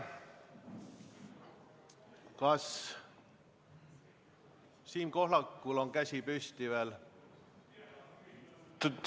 Kas Siim Pohlakul on käsi püsti?